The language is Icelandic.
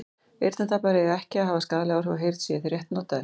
eyrnatappar eiga ekki að hafa skaðleg áhrif á heyrn séu þeir rétt notaðir